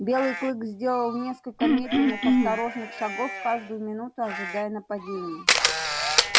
белый клык сделал несколько медленных осторожных шагов каждую минуту ожидая нападения